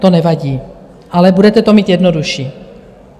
To nevadí, ale budete to mít jednodušší.